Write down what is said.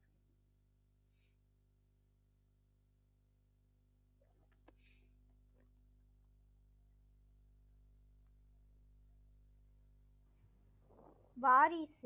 வாரிசு